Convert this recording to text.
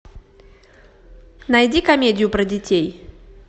найди комедию про детей